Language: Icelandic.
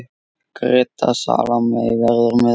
Greta Salóme verður með okkur.